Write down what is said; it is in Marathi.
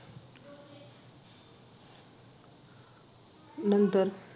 नंतर